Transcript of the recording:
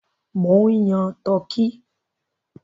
Mò ń yan turkey.